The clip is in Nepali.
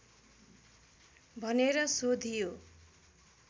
भनेर सोधियो